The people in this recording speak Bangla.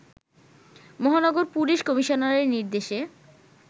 মহানগর পুলিশ কমিশনারের নির্দেশে